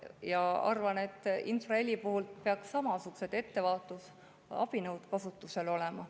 Ma arvan, et infraheli puhul peaks samasugused ettevaatusabinõud kasutusel olema.